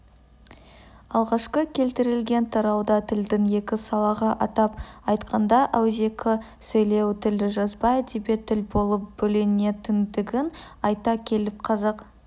алғашқы келтірілген тарауда тілдің екі салаға атап айтқанда ауызекі сөйлеу тілі жазба әдеби тіл болып бөлінетіндігін айта келіп қазақ